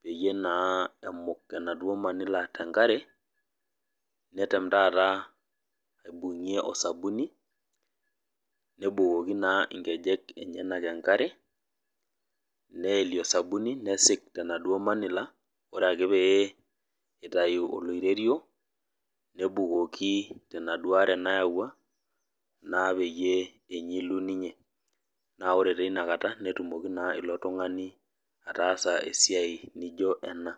peyie naa emuk enaduo manila tenkare, netem taata aibung'ie osabuni, nebukoki naa inkejek enyanak enkare, neelie osabuni, nesik tenaduo manila, ore ake pee itayu oloirerio, ebukoki tenaduo are nayaua, naa peyie enyilu ninye. Na ore tinakata, netumoki naa ilo tung'ani atasa esiai nijo ena.